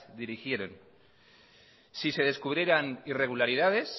dirigieren si se descubrieran irregularidades